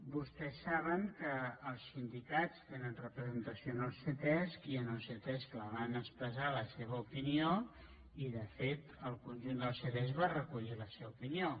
vostès saben que els sindicats tenen representació en el ctesc i en el ctesc la van ex·pressar la seva opinió i de fet el conjunt del ctesc va recollir la seva opinió